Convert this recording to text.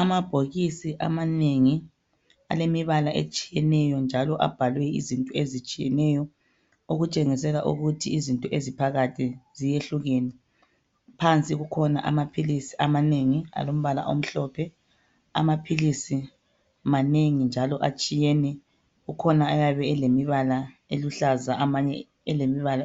Amabhokisi amanengi alemibala etshiyeneyo njalo abhalwe izinto ezitshiyeneyo, okutshengisela ukuthi izinto eziphakathi ziyehlukene. Phansi kukhona amaphilisi amanengi alombala omhlophe, amaphilisi manengi njalo atshiyene. Kukhona ayabe elemibala eluhlaza, amanye elemibala